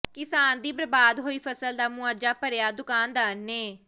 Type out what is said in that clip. ਕਿਸਾਨ ਦੀ ਬਰਬਾਦ ਹੋਈ ਫਸਲ ਦਾ ਮੁਆਵਜ਼ਾ ਭਰਿਆ ਦੁਕਾਨਦਾਰ ਨੇ